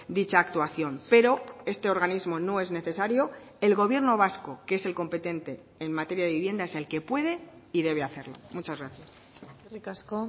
dicha actuación pero este organismo no es necesario el gobierno vasco que es el competente en materia de vivienda es el que puede y debe hacerlo muchas gracias eskerrik asko